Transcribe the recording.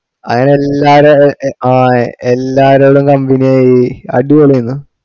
അങ്ങനെ എല്ലാര് എ എ ആ എല്ലാരോടും company ആയി അടിപോളി അയ്‌നും